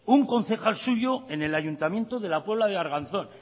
un concejal suyo en el ayuntamiento de la puebla de arganzón